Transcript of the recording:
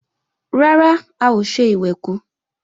Rárá, a ò ṣe ìwẹ̀kú